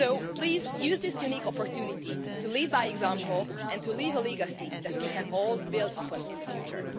Please use this unique opportunity to lead by example and to leave a legacy that we can all build upon in the future.